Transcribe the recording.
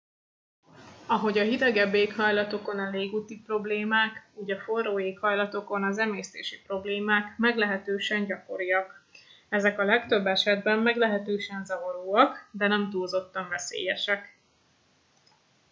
ahogyan a hidegebb éghajlatokon a légúti problémák úgy a forró éghajlatokon az emésztési problémák meglehetősen gyakoriak ezek a legtöbb esetben meglehetősen zavaróak de nem túlzottan veszélyesek